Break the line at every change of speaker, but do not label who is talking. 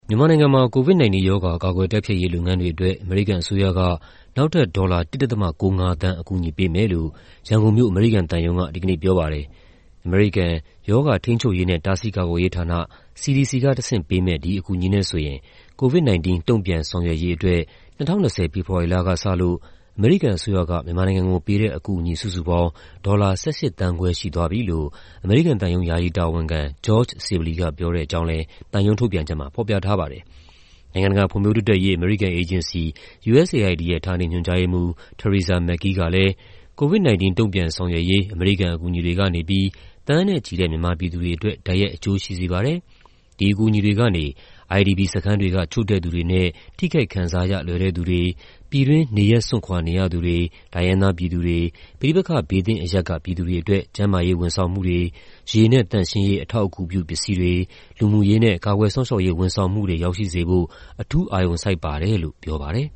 မြန်မာနိုင်ငံမှာ COVID-19 ရောဂါ ကာကွယ် တိုက်ဖျက်ရေးလုပ်ငန်းတွေအတွက် အမေရိကန်အစိုးရက နောက်ထပ် ဒေါ်လာ ၁.၉၅ သန်း အကူအညီပေးမယ်လို့ ရန်ကုန်မြို့၊ အမေရိကန်သံရုံးက ဒီကနေ့ပြောပါတယ်။ အမေရိကန် ရောဂါထိန်းချုပ်ရေးနဲ့ တားဆီးကာကွယ်ရေးဌာန (CDC) က တဆင့်ပေးမယ့် ဒီအကူအညီနဲ့ဆိုရင် COVID-19 တုံ့ပြန်ဆောင်ရွက်ရေးအတွက် ၂၀၂၀၊ ဖေဖော်ဝါရီလကစလို့ အမေရိကန်အစိုးရက မြန်မာနိုင်ငံကို ပေးတဲ့အကူအညီ စုစုပေါင်း ဒေါ်လာ ၁၈.၅ သန်းရှိသွားပြီလို့ အမေရိကန်သံရုံး ယာယီတာဝန်ခံ ဂျော့ဂျ် ဆစ်ဘလီက ပြောတဲ့အကြောင်း သံရုံး ထုတ်ပြန်ချက်မှာ ဖော်ပြထားပါတယ်။ နိုင်ငံတကာ ဖွံ့ဖြိုးတိုးတက်ရေး အမေရိကန်အေဂျင်စီ (USAID) ရဲ့ ဌာနေညွှန်ကြားရေးမှူး Teresa McGhie ကလည်း "COVID-19 တုံ့ပြန်ဆောင်ရွက်ရေး အမေရိကန် အကူအညီတွေကနေပြီး သန်းနဲ့ချီတဲ့ မြန်မာပြည်သူတွေအတွက် တိုက်ရိုက်အကျိုးရှိစေပါတယ်၊ ဒီအကူအညီတွေကနေ IDP စခန်းတွေက ချို့တဲ့သူတွေနဲ့ ထိခိုက်ခံစားရ လွယ်တဲ့သူတွေ၊ ပြည်တွင်း နေရပ်စွန့်ခွာနေရသူတွေ၊ တိုင်းရင်းသားပြည်သူတွေ၊ ပဋိပက္ခ ဘေးသင့်အရပ်က ပြည်သူတွေအတွက် ကျန်းမာရေးဝန်ဆောင်မှုတွေ၊ ရေနဲ့ သန့်ရှင်းရေး အထောက်အကူပြုပစ္စည်းတွေ၊ လူမှုရေးနဲ့ ကာကွယ်စောင့်ရှောက်ရေးဝန်ဆောင်မှုတွေ ရောက်ရှိစေဖို့ အထူး အာရုံစိုက်ပါတယ်။” လို့ ပြောပါတယ်